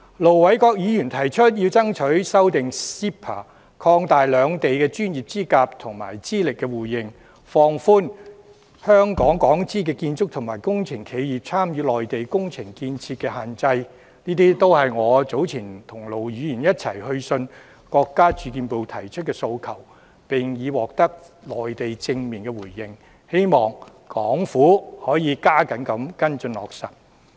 盧偉國議員提出要爭取修訂 CEPA 框架條款，以擴大兩地的專業資格和資歷互認，放寬港資建築及工程企業參與內地工程建設的限制，這些都是我早前跟盧議員一起去信國家住房和城鄉建設部提出的訴求，並已獲得內地正面的回應，希望港府可以加緊跟進和落實。